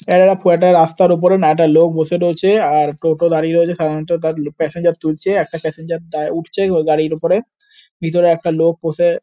আ- খুব একটা রাস্তার উপরে না একটা লোক বসে রয়েছে আর টোটো দাঁড়িয়ে রয়েছে সাধারনত তার ল প্যাসেঞ্জার তুলছে। একটা প্যাসেঞ্জার দা উঠছে গ গাড়ির ওপরে। ভিতরে একটা লোক বসে--